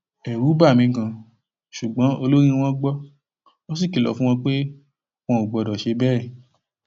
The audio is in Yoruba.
ẹrù bà mí ganan ṣùgbọn olórí wọn gbọ ó sì kìlọ fún wọn pé wọn ò gbọdọ ṣe bẹẹ